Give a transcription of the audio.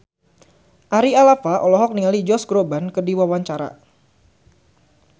Ari Alfalah olohok ningali Josh Groban keur diwawancara